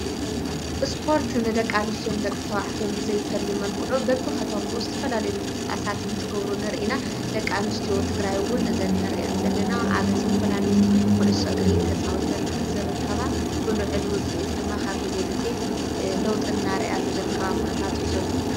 እስፖርት ንደቂ አንስቲዮን ደቂተባዕትዮን ብዘይፈሊ መልኩዑ በብኸቶም እውስትፈላልዩ ምቕጽባሳት ን ትገብሩ ንርኢና ደቃኑስቲዎ ትግራይውን ዘነርአንዘሊና ኣብ ዝተፈላልዩ ዂሕሱ ግሪ ተጻዊተን ዝርከባ ብሉዕሉ ጽእት ድማኻብ ጊዜ ጊዜ ለውጥናርያሉ ዝርከባ ዂነታት እዩ ዘሎ።